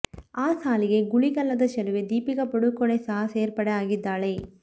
ಆ ಸಾಲಿಗೆ ಗುಳಿಗಲ್ಲದ ಚೆಲುವೆ ದೀಪಿಕ ಪಡುಕೋಣೆ ಸಹ ಸೇರ್ಪಡೆ ಆಗಿದ್ದಾಳೆ